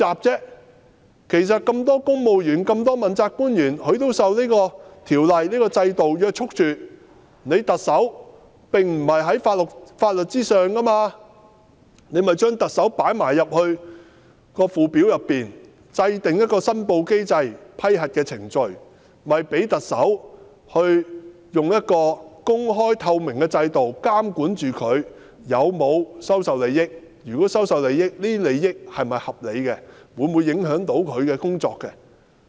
既然所有公務員、問責官員均受到《條例》約束，而特首又並非在法律之上，便應該將特首納入《條例》的附表，同時制訂一個申報機制及批核程序，讓特首在公開透明的制度下受到監管，如果他收受利益，這些利益是否合理，會否影響他的工作？